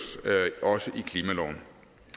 i klimaloven